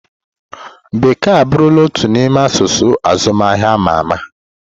Bekee abụrụla otu n'ime asụsụ azụmahịa ama ama.